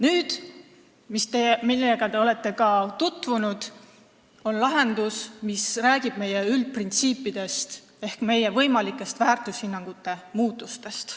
Teiseks on lahendus, millega te olete ka tutvunud ja mis räägib meie üldprintsiipidest ehk meie väärtushinnangute muutustest.